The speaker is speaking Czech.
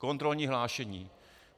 Kontrolní hlášení.